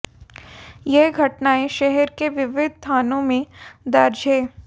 यह घटनाएं शहर के विविध थानों में दर्ज हैं